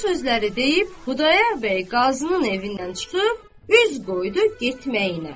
Bu sözləri deyib, Xudayar bəy qazının evindən çıxıb, üz qoydu getməyinə.